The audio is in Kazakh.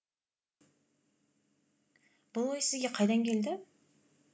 бұл ой сізге қайдан келді